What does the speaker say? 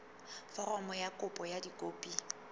foromo ya kopo ka dikopi